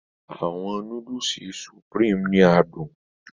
Àwọn Núdúùsù Supreme ni adùn